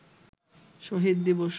শহীদ দিবস